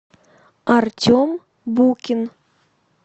артем букин